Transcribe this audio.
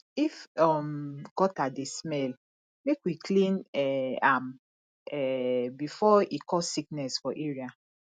if um gutter dey smell make we clean um am um before e cause sickness for area